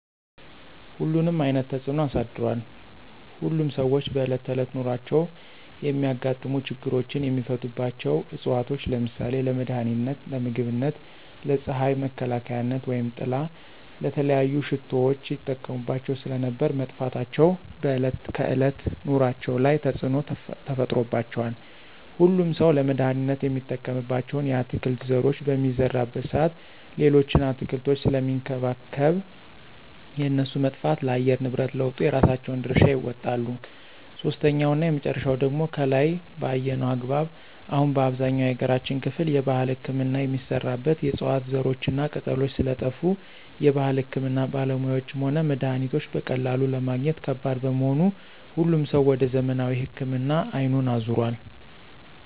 ሁሉንም አይነት ተፅኖ አሳድሯል። ሁሉም ሰዎች በእለት ተዕለት ኑሯቸው የሚያጋጥሙ ችግሮችን የሚፈቱባቸው ዕፅዋቶች ለምሳሌ :- ለመድሀኒትነት, ለምግብነት, ለፅሀይ መከላከያነት/ጥላ/,ለተለያዩ ሽቶዎች ይጠቀሙባቸው ስለነበር መጥፋታቸው በዕለት ከዕለት ኑሮአቸው ላይ ተፅዕኖ ተፈጥሮባቸዋል። ሁሉም ሠው ለመድሀኒትነት የሚጠቀምባቸውን የአትክልት ዘሮች በሚዘራበት ሰአት ሌሎችን አትክልቶች ስለሚንከባከብ የእነሱ መጥፋት ለአየር ንብረት ለውጡ የራሳቸውን ድርሻ ይወጣሉ። ሶስተኛውና የመጨረሻው ደግሞ ከላይ በአየነው አግባብ አሁን በአብዛኛው የሀገራችን ክፍል የባህል ህክምና የሚሰራበት የዕፅዋት ዘሮችና ቅጠሎች ስለጠፍ የባህል ህክምና ባለሙያዎችም ሆነ መድሀኒቶች በቀላሉ ለማግኘት ከባድ በመሆኑ ሁሉም ሰው ወደ ዘመናዊ ህክምና አይኑን አዞሯል።